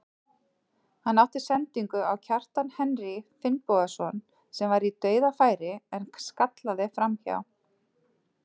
Hann átti sendingu á Kjartan Henry Finnbogason sem var í dauðafæri en skallaði framhjá.